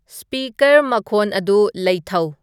speaker ꯃꯈꯣꯟ ꯑꯗꯨ ꯂꯩꯊꯎ